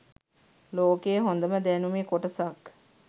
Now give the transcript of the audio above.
ලෝකෙ හොඳම දැනුමෙ කොටසක්